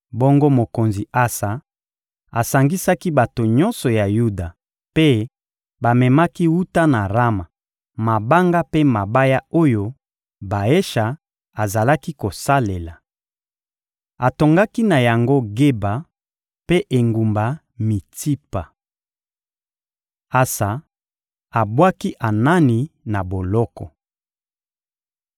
Bongo mokonzi Asa asangisaki bato nyonso ya Yuda, mpe bamemaki wuta na Rama mabanga mpe mabaya oyo Baesha azalaki kosalela. Atongaki na yango Geba mpe engumba Mitsipa. Asa abwaki Anani na boloko